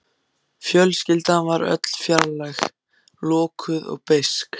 Fjölskyldan var öll fjarlæg, lokuð og beisk.